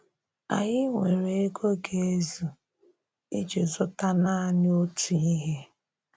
Ányị nweré égo gà-ezù iji zùtà nanị otu ihe.